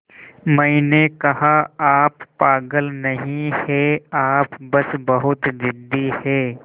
मैंने कहा आप पागल नहीं हैं आप बस बहुत ज़िद्दी हैं